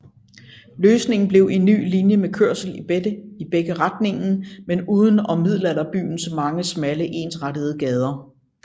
Løsningen blev en ny linje med kørsel i begge retningen men udenom Middelalderbyens mange smalle ensrettede gader